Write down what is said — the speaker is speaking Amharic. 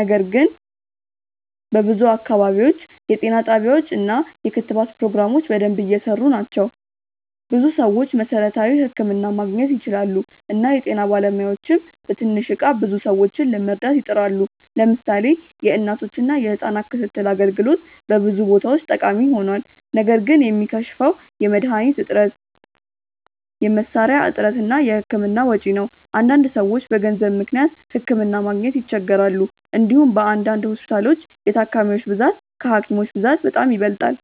ነገር ግን በብዙ አካባቢዎች የጤና ጣቢያዎች እና የክትባት ፕሮግራሞች በደንብ እየሰሩ ናቸው። ብዙ ሰዎች መሠረታዊ ሕክምና ማግኘት ይችላሉ እና የጤና ባለሙያዎችም በትንሽ እቃ ብዙ ሰዎችን ለመርዳት ይጥራሉ። ለምሳሌ የእናቶችና የህጻናት ክትትል አገልግሎት በብዙ ቦታዎች ጠቃሚ ሆኗል። ነገር ግን የሚከሽፈው የመድሀኒት እጥረት፣ የመሳሪያ እጥረት እና የህክምና ወጪ ነው። አንዳንድ ሰዎች በገንዘብ ምክንያት ሕክምና ማግኘት ይቸገራሉ። እንዲሁም በአንዳንድ ሆስፒታሎች የታካሚዎች ብዛት ከሀኪሞች ብዛት በጣም ይበልጣል።